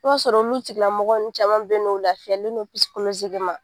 I b'a sɔrɔ olu tigilamɔgɔ caman bɛ yen nɔ u lafiyalen don